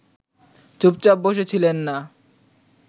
চুপচাপ বসে ছিলেন না